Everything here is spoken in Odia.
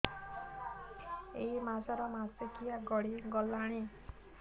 ଏଇ ମାସ ର ମାସିକିଆ ଗଡି ଗଲାଣି